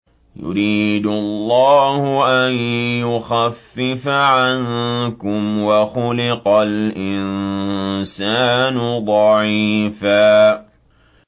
يُرِيدُ اللَّهُ أَن يُخَفِّفَ عَنكُمْ ۚ وَخُلِقَ الْإِنسَانُ ضَعِيفًا